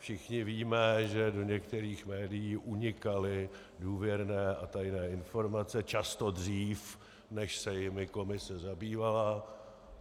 Všichni víme, že do některých médií unikaly důvěrné a tajné informace často dřív, než se jimi komise zabývala.